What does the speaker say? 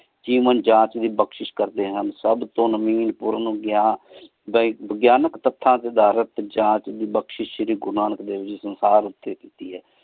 ਜੇਵਾਂ ਜਾਂਚ ਦੀ ਬਕ੍ਸ਼ਿਸ਼ ਕਰਦੀ ਹਨ ਸਬ ਤੋ ਦਾ ਇਕ ਵਾਗ੍ਯਨਿਕ ਜਾਂਚ ਦੀ ਸ਼ੀਰੀ ਗੁਰੂ ਨਾਨਕ ਦੇਵ ਹਾਰ ਊਟੀ ਕੀਤੀ ਹੈ